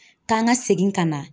K'an ka segin ka na